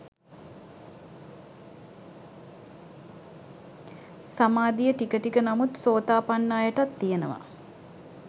සමාධිය ටික ටික නමුත් සෝතාපන්න අයටත් තියෙනවා